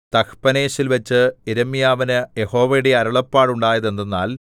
തഹ്പനേസിൽവച്ച് യിരെമ്യാവിനു യഹോവയുടെ അരുളപ്പാടുണ്ടായതെന്തെന്നാൽ